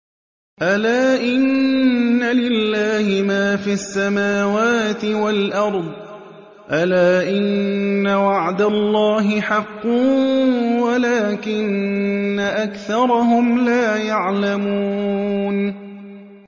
أَلَا إِنَّ لِلَّهِ مَا فِي السَّمَاوَاتِ وَالْأَرْضِ ۗ أَلَا إِنَّ وَعْدَ اللَّهِ حَقٌّ وَلَٰكِنَّ أَكْثَرَهُمْ لَا يَعْلَمُونَ